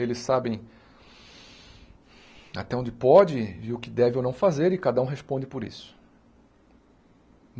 Eles sabem até onde pode e o que deve ou não fazer e cada um responde por isso.